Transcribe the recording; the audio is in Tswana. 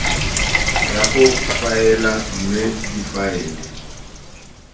ya go faela mme difaele